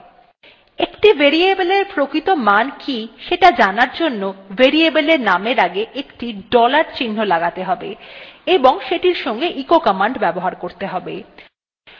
একটি variable এর প্রকৃত মান কি সেটি জানার জন্য variable এর নামের আগে একটি dollar চিহ্ন লাগাতে have এবং সেটির সঙ্গে echo command ব্যবহার করতে have